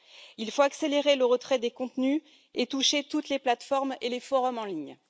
Il faut accélérer le retrait des contenus et toucher toutes les plateformes et les forums en ligne.